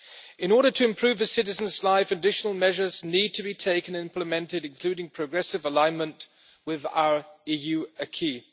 In order to improve its citizens' lives, additional measures need to be taken and implemented, including progressive alignment with our EU acquis.